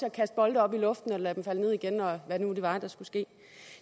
at kaste bolde op i luften og lade dem falde ned igen og hvad det nu var der skulle ske